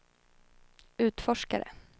utforskare